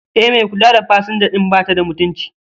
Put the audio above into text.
E, mai kula da pasanja din batada mutunci